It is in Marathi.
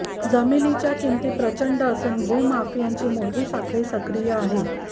जमिनीच्या किमती प्रचंड असून भूमाफियांची मोठी साखळी सक्रिय आहे